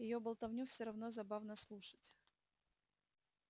её болтовню всё равно забавно слушать